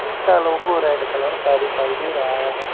इसका logo red colour का दिखाई दे रहा है।